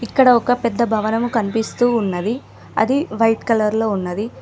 ఇక్కడ ఒక పెద్ద భవనము కనిపిస్తూ ఉన్నది అది వైట్ కలర్ లో ఉన్నది.